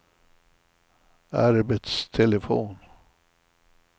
arbetstelefon